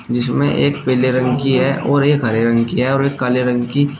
जिसमें एक पीले रंग की है और एक हरे रंग की है और एक काले रंग की।